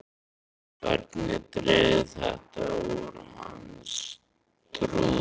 Hvernig dregur þetta úr hans trúverðugleika?